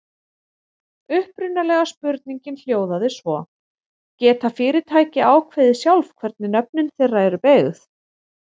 Upprunalega spurningin hljóðaði svo: Geta fyrirtæki ákveðið sjálf hvernig nöfn þeirra eru beygð?